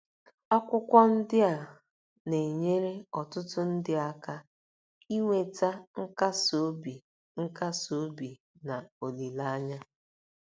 Akwụkwọ ndị a na-enyere ọtụtụ ndị aka inweta nkasi obi nkasi obi na olileanya.